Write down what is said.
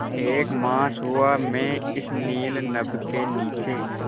एक मास हुआ मैं इस नील नभ के नीचे